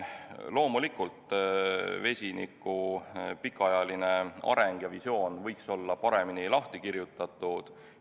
Loomulikult võiks vesiniku pikaajaline areng ja visioon olla paremini lahti kirjutatud.